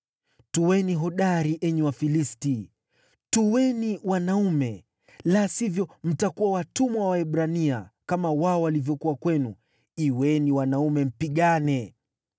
Tuweni hodari, enyi Wafilisti! Tuweni wanaume, la sivyo mtakuwa watumwa wa Waebrania, kama wao walivyokuwa kwenu. Kuweni wanaume, mpigane!”